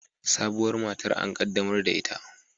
Sabuwar matar an qaddamar da ita